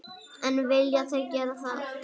En vilja þeir gera það?